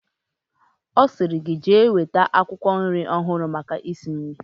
Osiri gi jee weta akwukwo nri ohuru maka isi nri